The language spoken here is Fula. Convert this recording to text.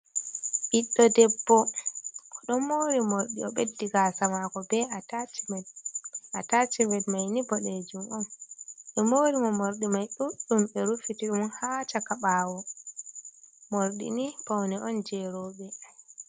Ɓiɗdo debbo o ɗon mari mordi, o ɓeddi gasamako be a tachimet. Atachimet mai ni boɗejum on, ɓe morimo morɗi mai ɗuɗɗum ɓe ruffitiɗum ha chaka bawo. Mordɗini paune on jeroɓe.